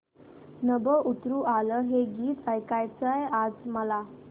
नभं उतरू आलं हे गीत ऐकायचंय आज मला